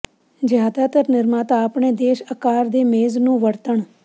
ਜ਼ਿਆਦਾਤਰ ਨਿਰਮਾਤਾ ਆਪਣੇ ਦੇਸ਼ ਅਕਾਰ ਦੇ ਮੇਜ਼ ਨੂੰ ਵਰਤਣ